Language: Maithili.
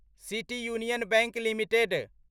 city union bank limited